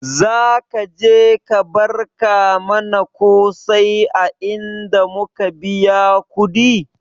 Zaka ka je ka barka mana kosai a inda muka biya kudi?